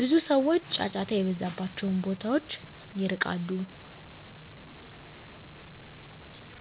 ብዙ ሰዎች ጫጫታ የበዛባቸውን ቦታዎች ይርቃሉ።